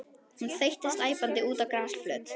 Hún þeyttist æpandi út á grasflöt.